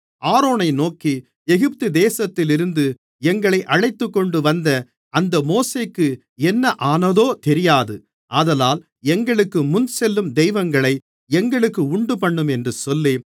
ஆரோனை நோக்கி எகிப்துதேசத்திலிருந்து எங்களை அழைத்துக்கொண்டுவந்த அந்த மோசேக்கு என்ன ஆனதோ தெரியாது ஆதலால் எங்களுக்கு முன்னேசெல்லும் தெய்வங்களை எங்களுக்கு உண்டுபண்ணும் என்று சொல்லி